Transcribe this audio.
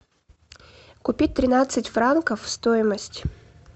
купить тринадцать франков стоимость